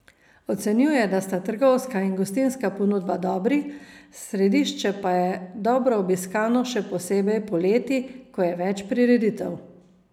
Ocenjuje, da sta trgovska in gostinska ponudba dobri, središče pa je dobro obiskano še posebej poleti, ko je več prireditev.